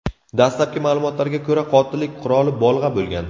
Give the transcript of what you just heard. Dastlabki ma’lumotlarga ko‘ra, qotillik quroli bolg‘a bo‘lgan.